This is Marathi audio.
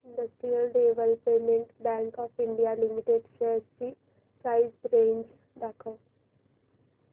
industrial development bank of India limited shares ची प्राइस रेंज दाखव